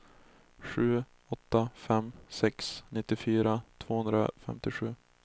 sju åtta fem sex nittiofyra tvåhundrafemtiosju